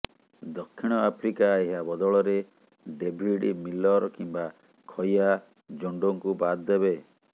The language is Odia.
ଦକ୍ଷିଣ ଆଫ୍ରିକା ଏହା ବଦଳରେ ଡେଭିଡ୍ ମିଲର୍ କିମ୍ବା ଖୟା ଜୋଣ୍ଡୋଙ୍କୁ ବାଦ୍ ଦେବ